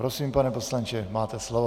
Prosím, pane poslanče, máte slovo.